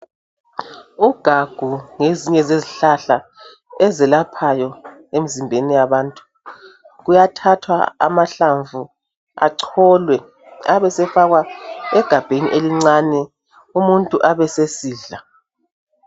Ugagu ngezinye zezihlahla ezelaphayo emzimbeni yabantu kuyathathwa amahlamvu acholwe abesefakwa egabheni elincane umuntu abe sesidla.